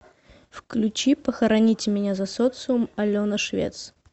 включи похороните меня за социум алена швец